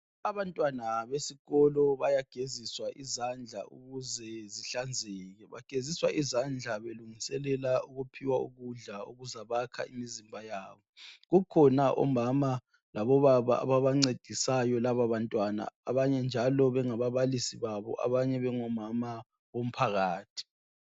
Abantwana besikolo bayageziswa izandla ukuze zihlanzeke. Bageziswa izandla belungiselela ukuphiwa ukudla okuzabayakha imizimba yabo. Kukhona omama labobaba ababancedisayo labo bantwana abanye njalo bengababalisi babo, abanye njalo bengomama bomphakathi.